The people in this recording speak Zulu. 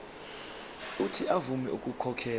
uuthi avume ukukhokhela